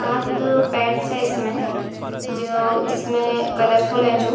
साथ तो पेट्स हैं इसमें जो जिसमें कलरफुल है जो।